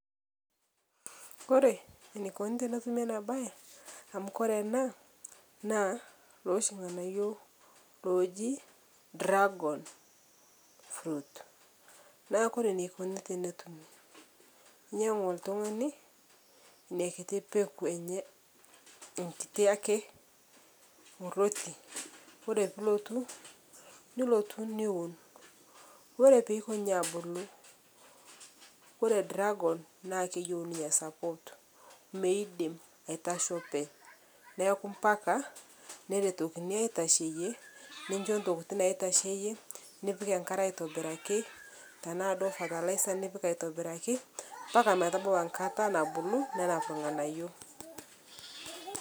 Ore ena naa kulo oshi nganayio ooji dragon fruit naa kore eneikuni tenetumi naa inyangu oltungani ina kiti peku enye naa ore piilotu aun naa keyieu ninye support amu meidim aitasho openy niaku mpaka neretokini aitasheyie ninjo ntokiting naitasheyie nipik engare aitobiraki tenaa duo fertilizers nipik aitobiraki metabolism engata nabulu nenap ilnganayio